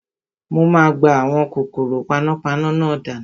Mo máa gbá àwọn kòkòrò panápaná náà dànù